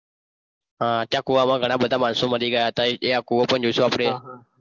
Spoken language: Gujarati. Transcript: હા, ત્યાં કૂવામાં ઘણા બધા માણસો મરી ગયા હતા એ કૂવો પણ જોઈશું આપણે.